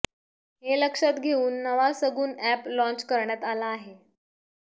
हे लक्षात घेऊन नवा सगुन अॅप लॉन्च करण्यात आला आहे